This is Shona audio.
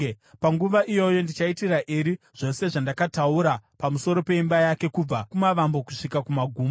Panguva iyoyo ndichaitira Eri zvose zvandakataura pamusoro peimba yake kubva kumavambo kusvika kumagumo.